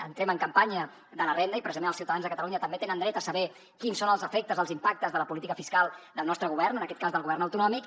entrem en campanya de la renda i precisament els ciutadans de catalunya també tenen dret a saber quins són els efectes els impactes de la política fiscal del nostre govern en aquest cas del govern autonòmic